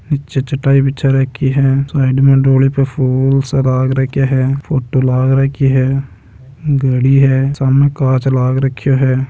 नीच चटाइ बिछा राखी है साइड में डोली पर फुल सजा के रख हैफोटो लगा रखी है घड़ी भि है उसमे कांच भी लगा रखा है।